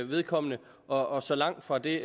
vedkommende og så langt fra det